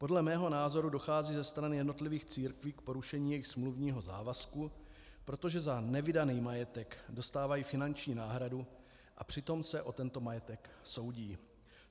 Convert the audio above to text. Podle mého názoru dochází ze stran jednotlivých církví k porušení jejich smluvního závazku, protože za nevydaný majetek dostávají finanční náhradu, a přitom se o tento majetek soudí.